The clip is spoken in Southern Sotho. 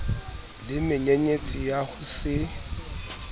le menyenyetsi ya ho se